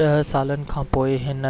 ڏه سالن کانپوءِ هن